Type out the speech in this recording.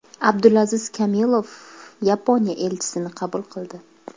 Abdulaziz Kamilov Yaponiya elchisini qabul qildi.